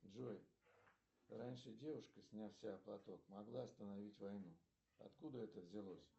джой раньше девушка сняв с себя платок могла остановить войну откуда это взялось